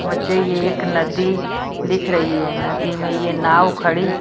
मुझे ये एक नदी दिख रही है नदी में ये नाव खड़ी---